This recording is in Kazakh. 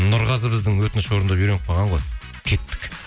нұрғазы біздің өтініш орындап үйреніп қалған ғой кеттік